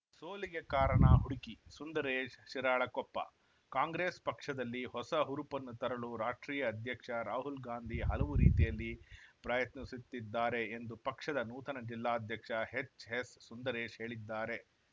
ಸೋಲಿಗೆ ಕಾರಣ ಹುಡುಕಿ ಸುಂದರೇಶ್‌ ಶಿರಾಳಕೊಪ್ಪ ಕಾಂಗ್ರೆಸ್‌ ಪಕ್ಷದಲ್ಲಿ ಹೊಸ ಹುರುಪನ್ನು ತರಲು ರಾಷ್ಟ್ರೀಯ ಅಧ್ಯಕ್ಷ ರಾಹುಲ್‌ ಗಾಂಧಿ ಹಲವು ರೀತಿಯಲ್ಲಿ ಪ್ರಯತ್ನಿಸುತ್ತಿದ್ದಾರೆ ಎಂದು ಪಕ್ಷದ ನೂತನ ಜಿಲ್ಲಾಧ್ಯಕ್ಷ ಎಚ್‌ ಎಸ್‌ ಸುಂದರೇಶ್‌ ಹೇಳಿದ್ದಾರೆ